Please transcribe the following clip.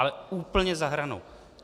Ale úplně za hranou!